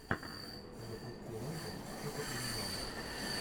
запусти ленту типа криминала